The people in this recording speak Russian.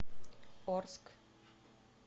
орск